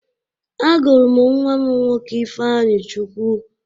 Agụrụ m nwa m nwoke Ifeanyịchukwu.